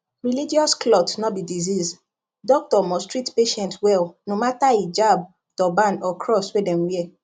religious cloth no be disease doctor must treat patient well no matter hijab turban or cross wey dem wear